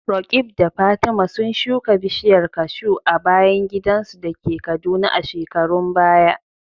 Roqeeb da Fatima sun shuka bishiyar kashu a bayan gidansu da ke Kaduna a shekarun baya.